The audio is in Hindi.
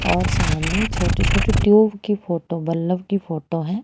और सामने छोटी छोटी ट्यूब की फोटो बल्ब की फोटो हैं।